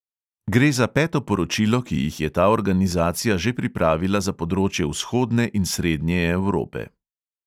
Gre za peto poročilo, ki jih je ta organizacija že pripravila za področje vzhodne in srednje evrope.